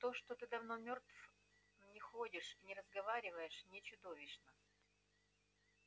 то что ты давно мёртв но ходишь и разговариваешь не чудовищно